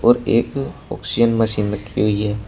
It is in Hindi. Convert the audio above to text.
और एक ऑक्सीजन मशीन रखी हुई है।